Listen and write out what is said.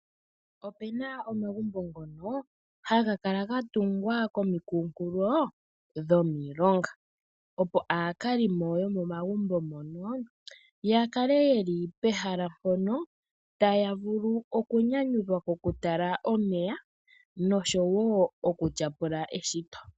Opena omagumbo ngono, hagakala gatugwa komikunkulo dhomilonga, opo aakalimo yomomagumbo mono yakale yeli pehala mpono, taya vulu okunyanyudhwa kokutala omeya noshowo okutya pula eshito.